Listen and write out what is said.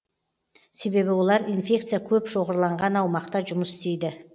себебі олар инфекция көп шоғырланған аумақта жұмыс істейді